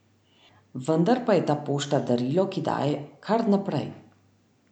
Vendar pa je ta pošta darilo, ki daje kar naprej.